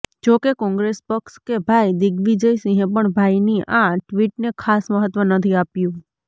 જોકે કોંગ્રેસ પક્ષ કે ભાઈ દિગ્વિજયસિંહે પણ ભાઈની આ ટ્વિટને ખાસ મહત્વ નથી આપ્યું